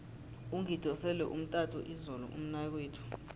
ungidosele umtato izolo umnakwethu